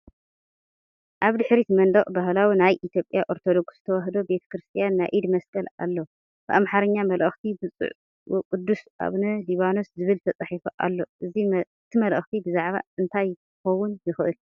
ኣብ ድሕሪት መንደቕ ባህላዊ ናይ ኢትዮጵያ ኦርቶዶክስ ተዋህዶ ቤተክርስትያን ናይ ኢድ መስቀል ኣሎ። ብኣምሓርኛ (መልእኽቲ ብፁዕ ወቅዱስ ኣቡነ ሊባኖስ) ዝብል ተጻሒፉ ኣሎ። እቲ መልእኽቲ ብዛዕባ እንታይ ኪኸውን ይኽእል፧